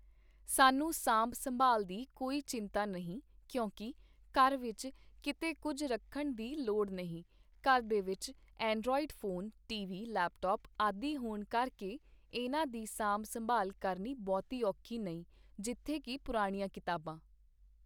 ਸਾਨੂੰ ਸਾਂਭ ਸੰਭਾਲ ਦੀ ਕੋਈ ਚਿੰਤਾ ਨਹੀਂ ਕਿਉਂਕਿ ਘਰ ਵਿਚ ਕੀਤੇ ਕੁੱਝ ਰੱਖਣ ਦੀ ਲੋੜ ਨਹੀਂ, ਘਰ ਦੇ ਵਿੱਚ android phone, T V, laptop ਆਦਿ ਹੋਣ ਕਰਕੇ ਇਹਨਾਂ ਦੀ ਸਾਂਭ ਸੰਭਾਲ ਕਰਨੀ ਬਹੁਤੀ ਔਖੀ ਨਹੀਂ ਜਿੱਥੇ ਕੀ ਪੁਰਾਣੀਆਂ ਕਿਤਾਬਾਂ I